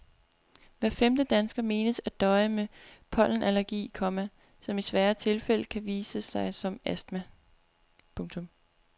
Hver femte dansker menes at døje med pollenallergi, komma som i svære tilfælde kan vise sig som astma. punktum